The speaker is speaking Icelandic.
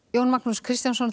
Jón Magnús Kristjánsson